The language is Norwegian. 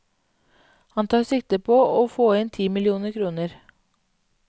Han tar sikte på å få inn ti millioner kroner.